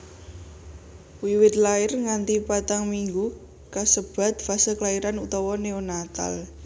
Wiwit lair nganti patang minggu kasebat fase klairan utawa neonatal